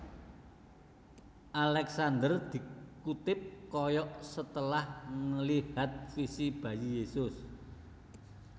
Alexander dikutip koyok setelah nglihat visi bayi Yesus